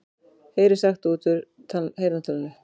Heyrir sagt út úr heyrnartólinu